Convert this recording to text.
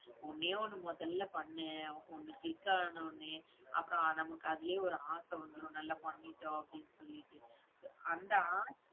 ஒண்ணே ஒண்ணு முதல்ல பண்ணு. ஒண்ணு click ஆன உடனே அப்புறம் நமக்கு அதுலையே ஒரு ஆசை வந்துடும். நல்லா பண்ணிட்டோம், அப்படின்னு சொல்லிட்டு. அந்த ஆசை